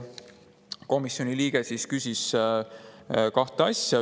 Komisjoni liige küsis kahte asja.